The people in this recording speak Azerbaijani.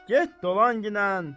Get dolan ginən.